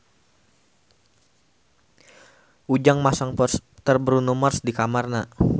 Ujang masang poster Bruno Mars di kamarna